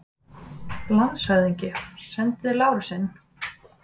LANDSHÖFÐINGI: Sendið Lárus inn!